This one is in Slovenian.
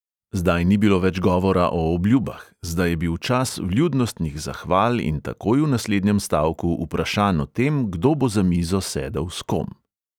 Zdaj ni bilo več govora o obljubah, zdaj je bil čas vljudnostnih zahval in takoj v naslednjem stavku vprašanj o tem, kdo bo za mizo sedel s kom.